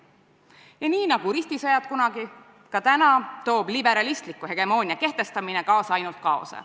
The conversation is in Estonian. Ja nii nagu kunagi ristisõjad, toob täna liberaalse hegemoonia kehtestamine kaasa ainult kaost.